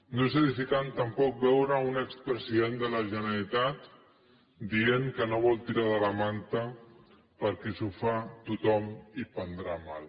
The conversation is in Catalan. no és edificant tampoc veure un expresident de la generalitat dient que no vol tirar de la manta perquè si ho fa tothom prendrà mal